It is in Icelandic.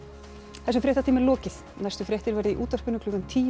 þessum fréttatíma er lokið næstu fréttir verða í útvarpi klukkan tíu